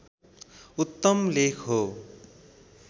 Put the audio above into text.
उत्तम लेख हो